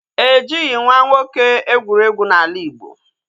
E jighị nwa nwoke egwuregwu n'ala Igbo